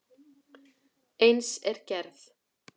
Eins er gerð